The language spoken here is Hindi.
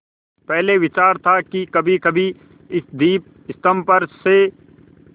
पहले विचार था कि कभीकभी इस दीपस्तंभ पर से